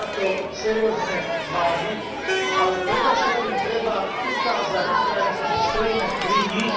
Treba to seriózne zvážiť, ale predovšetkým treba ukázať Ukrajincom, že stojíme pri nich.